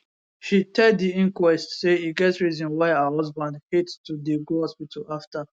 she tell di inquest say e get reason why her husband hate to dey go hospital afta